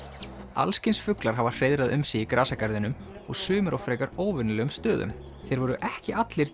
alls kyns fuglar hafa hreiðrað um sig í grasagarðinum og sumir á frekar óvenjulegum stöðum þeir voru ekki allir